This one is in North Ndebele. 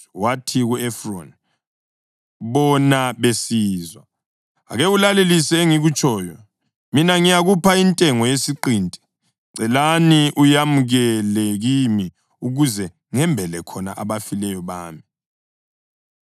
wathi ku-Efroni bona besizwa, “Ake ulalelisise engikutshoyo. Mina ngizayikhupha intengo yesiqinti. Ngicela uyamukele kimi ukuze ngimbele khona abafileyo bami.”